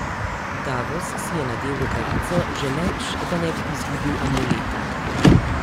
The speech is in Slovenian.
Davos si je nadel rokavico, želeč, da ne bi izgubil amuleta.